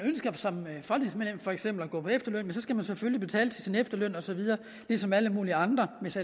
for eksempel at gå på efterløn skal man selvfølgelig betale til sin efterløn og så videre ligesom alle mulige andre hvis